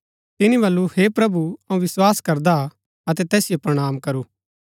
तिनी बल्लू हे प्रभु अऊँ विस्वास करदा अतै तैसिओ प्रणाम करू